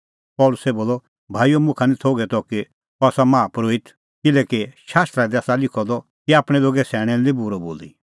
पल़सी बोलअ भाईओ मुखा निं थोघै त कि अह आसा माहा परोहित किल्हैकि शास्त्रा दी आसा लिखअ द कि आपणैं लोगे सैणैं लै निं बूरअ बोली